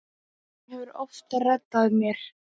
Hún hefur oft reddað mér.